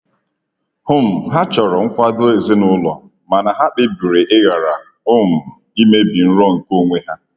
um Ha chọrọ nkwado ezinụlọ mana ha kpebiri ịghara um imebi nrọ nke onwe ha.